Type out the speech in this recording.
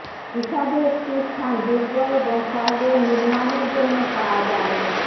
হিসাবে একটি স্থান দুর্গ এবং শহরের নির্মাণের জন্য পাওয়া যায়নি